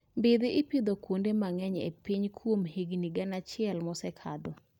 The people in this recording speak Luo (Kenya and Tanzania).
Mmbidhi ipidho kuonde mang'eny e piny kuom higni gana achiel maosekalo